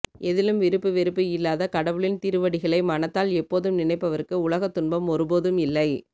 எதிலும் விருப்பு வெறுப்பு இல்லாத கடவுளின் திருவடிகளை மனத்தால் எப்போதும் நினைப்பவருக்கு உலகத் துன்பம் ஒருபோதும் இல்லை